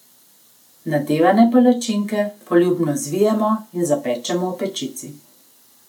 Nadevane palačinke poljubno zvijemo in zapečemo v pečici.